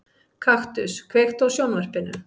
Kaktus, kveiktu á sjónvarpinu.